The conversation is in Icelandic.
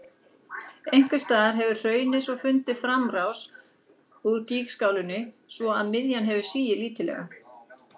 Einhvers staðar hefur hraunið svo fundið framrás úr gígskálinni, svo að miðjan hefur sigið lítillega.